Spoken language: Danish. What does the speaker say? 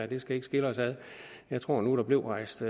det skal ikke skille os ad jeg tror nu der blev rejst